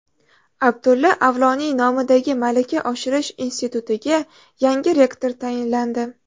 Abdulla Avloniy nomidagi malaka oshirish institutiga yangi rektor tayinlandi.